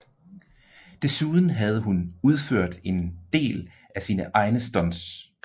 Desuden havde hun udført en del af sine egne stunts